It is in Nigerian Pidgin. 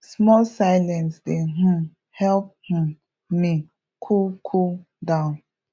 small silence dey um help um me cool cool down